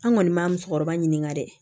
An kɔni ma musokɔrɔba ɲininka dɛ